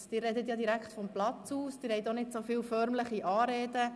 Sie sprechen direkt vom Platz aus, und sie verwenden auch nicht so viele förmliche Anreden.